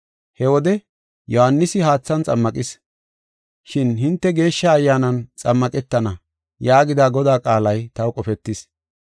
He wode, ‘Yohaanisi haathan xammaqis, shin hinte Geeshsha Ayyaanan xammaqetana’ yaagida Godaa qaalay taw qofetis.